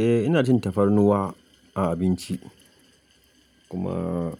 Eh ina cin tafarnuwa a abinci kuma